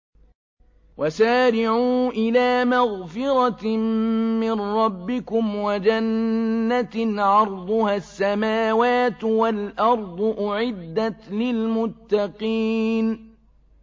۞ وَسَارِعُوا إِلَىٰ مَغْفِرَةٍ مِّن رَّبِّكُمْ وَجَنَّةٍ عَرْضُهَا السَّمَاوَاتُ وَالْأَرْضُ أُعِدَّتْ لِلْمُتَّقِينَ